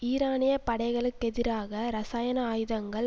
ஈரானிய படைகளுக்கெதிராக இரசாயன ஆயுதங்கள்